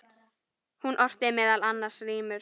Hún orti meðal annars rímur.